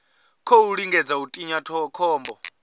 khou lingedza u tinya khombo